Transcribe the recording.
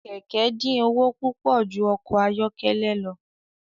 Kẹkẹ din owo pupọ ju ọkọ ayọkẹlẹ lọ.